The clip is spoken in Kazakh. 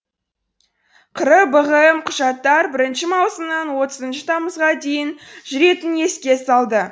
қр бғм құжаттар бірінші маусымнан отызыншы тамызға дейін жүретінін еске салды